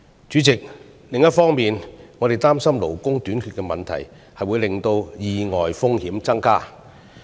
主席，另一方面，我們擔心勞工短缺的問題會導致意外風險增加。